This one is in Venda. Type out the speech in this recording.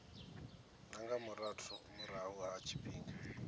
na nga murahu ha tshifhinga